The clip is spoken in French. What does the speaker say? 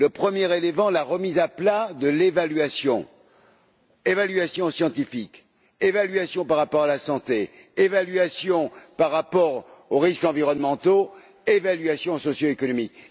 Premier élément, la remise à plat de l'évaluation évaluation scientifique, évaluation par rapport à la santé, évaluation par rapport aux risques environnementaux, évaluation socioéconomique.